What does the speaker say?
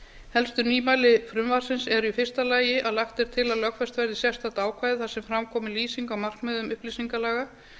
helstu nýmæli frumvarpsins eru í fyrsta lagi að lagt er til að lögfest verði sérstök ákvæði þar sem fram komi lýsing á markmiðum upplýsingalaga í